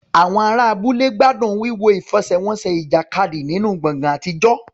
Àwọn ará abúlé gbádùn wíwo ìfẹsẹ̀wọnsẹ̀ ìjàkadì nínú gbọ̀ngàn àtijọ́.